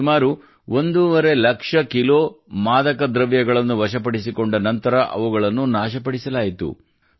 ಸುಮಾರು ಒಂದೂವರೆ ಲಕ್ಷ ಕಿಲೋ ಮಾದಕ ದ್ರವ್ಯಗಳನ್ನು ವಶಪಡಿಸಿಕೊಂಡ ನಂತರ ಅವುಗಳನ್ನು ನಾಶಪಡಿಸಲಾಯಿತು